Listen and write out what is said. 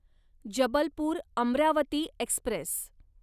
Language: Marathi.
जबलपूर अमरावती एक्स्प्रेस